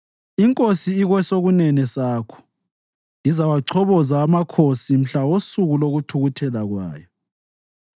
INkosi ikwesokunene sakho; izawachoboza amakhosi mhla wosuku lokuthukuthela kwayo.